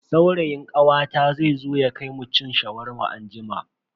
Saurayin kawata zai zo ya kai mu cin Shawarma anjima.